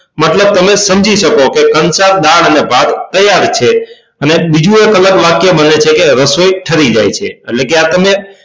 મતલબ તમે સમી શકો કે કંસાર દાળ અને ભાત તૈયાર છે અને બીજું એક અલગ વાક્ય બને છે કે રસોઈ ઠરી જાય છે એટલે કે આ